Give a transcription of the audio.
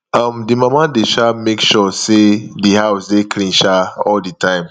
um the mama de um make sure say di house dey clean um all the time